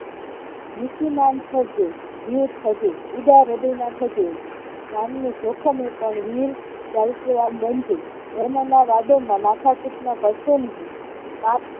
નીતિમાનથજો વિરુદ્ધ થજો ઉદાહર્દય ના થજો જાનનું જોખમ ઉપર વિવિધ સાહિત્યવાન બનજો ધર્મના વાદળ માં માથા-કુટ માં પડશો નહિ પાપ